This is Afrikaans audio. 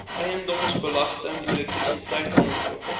eiendomsbelasting elektrisiteit aankope